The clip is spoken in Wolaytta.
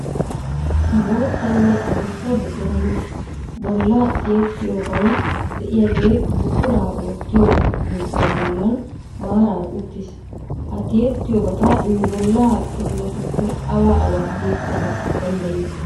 Boottanne adussa buquran bollaa tiyettiyoobay de"iyaagee buquraa wottiyo oydiyaa bollan maaraara uttis. Ha tiyyettiyoobata nu bollaa kifiletuppe awa awa tiyettana danddayiyo?